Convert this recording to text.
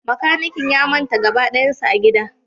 Makanikin ya manta gaba dayansa a gida